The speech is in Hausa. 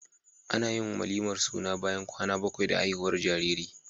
Anayin walimar suna bayan kwana bakwai da haihuwar jariri